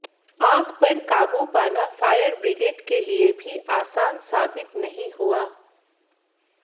आग पर काबू पाना फायर बिग्रेड के लिए भी आसान साबित नहीं हुआ